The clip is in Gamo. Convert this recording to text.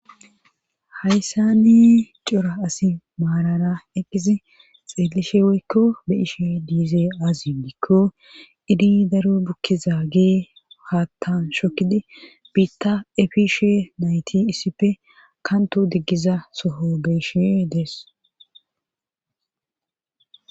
Hayssani cora asi maarara eqqizi xeellishe woykko beishe diize azi biikko idi daro bukkiza gee haattan shokkidi biitta efiishe nayti issippe kanto diggiza soho be ishe dees